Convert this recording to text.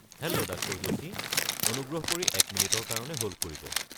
Hello doctor Joshi. অনুগ্ৰহ কৰি এক মিনিটৰ কাৰণে হ'ল্ড কৰিব।